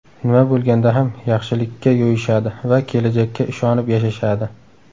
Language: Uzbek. Nima bo‘lganda ham, yaxshilikka yo‘yishadi va kelajakka ishonib yashashadi.